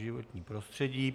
Životní prostředí.